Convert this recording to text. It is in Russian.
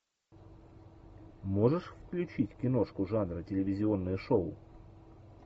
можешь включить киношку жанра телевизионное шоу